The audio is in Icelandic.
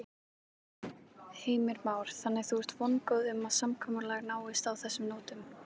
Heimir Már: Þannig að þú ert vongóð um að samkomulag náist á þessum nótum?